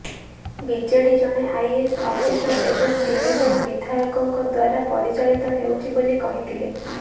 BJD ଜଣେ IAS officer ଏବଂ ତିନି ଜଣ ବିଧାୟକଙ୍କ ଦ୍ୱାରା ପରିଚାଳିତ ହେଉଛି ବୋଲି କହିଥିଲେ